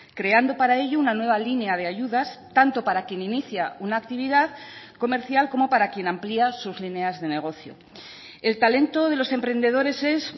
creando para ello una nueva línea de ayudas tanto para quien inicia una actividad comercial como para quien amplia sus líneas de negocio el talento de los emprendedores es